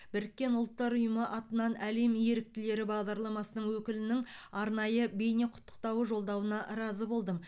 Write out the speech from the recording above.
біріккен ұлттар ұйымы атынан әлем еріктілері бағдарламасының өкілінің арнайы бейнеқұттықтауы жолдауына разы болдым